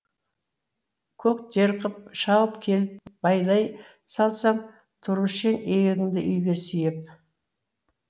көк тер қып шауып келіп байлай салсаң тұрушы ең иегіңді үйге сүйеп